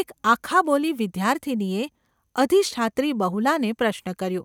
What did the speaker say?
એક આખાબોલી વિદ્યાર્થિનીએ અધિષ્ઠાત્રી બહુલાને પ્રશ્ન કર્યો.